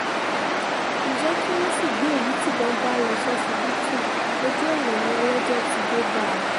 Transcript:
ǹjẹ́ kí wọ́n sì gbé èyí tíbọn bá lọ ṣọsibítù ojú ọ̀nà ni ọlọ́jọ́ ti dé bá a